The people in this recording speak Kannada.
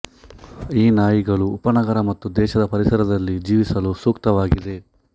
ಈ ನಾಯಿಗಳು ಉಪನಗರ ಮತ್ತು ದೇಶದ ಪರಿಸರದಲ್ಲಿ ಜೀವಿಸಲು ಸೂಕ್ತವಾಗಿದೆ